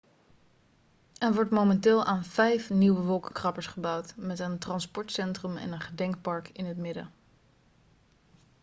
er wordt momenteel aan vijf nieuwe wolkenkrabbers gebouwd met een transportcentrum en een gedenkpark in het midden